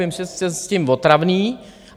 Vím, že jsem s tím otravný.